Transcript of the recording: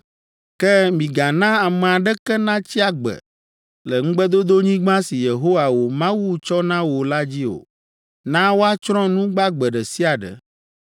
“Ke migana ame aɖeke natsi agbe le Ŋugbedodonyigba si Yehowa wò Mawu tsɔ na wò la dzi o. Na woatsrɔ̃ nu gbagbe ɖe sia ɖe.